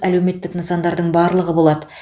әлеуметтік нысандардың барлығы болады